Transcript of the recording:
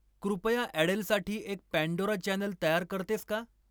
कृपया ॲडेलसाठी एक पँडोरा चॅनेल तयार करतेस का?